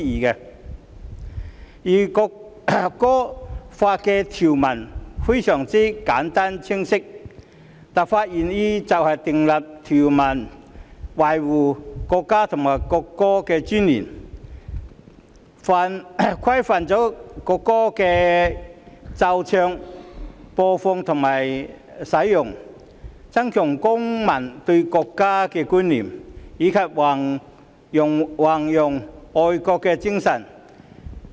《條例草案》的條文非常簡單和清晰，立法原意是訂立條文，以維護國家和國歌的尊嚴，規範國歌的奏唱、播放和使用，增強公民對國家的觀念，以及宏揚愛國的精神。